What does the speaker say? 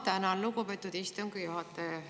Ma tänan, lugupeetud istungi juhataja!